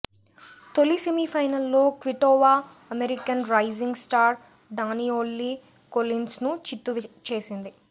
తొలి సెమీఫైనల్లో Kvitova American rising star Danielle కొలిన్స్ను చిత్తు చేసింది